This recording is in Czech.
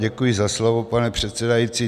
Děkuji za slovo, pane předsedající.